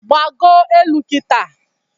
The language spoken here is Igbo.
Gbago elu Kita